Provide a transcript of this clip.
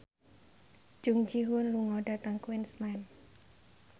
Jung Ji Hoon lunga dhateng Queensland